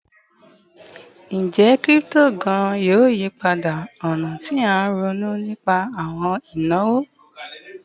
Njẹ crypto gaan yoo yipada ọna ti a ronu nipa awọn inawo?